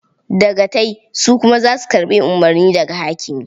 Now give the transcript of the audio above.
Dagatai su kuma za su karɓi umurni daga hakimi.